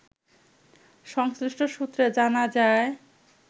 সংশ্লিষ্ট সূত্রে জানা যায়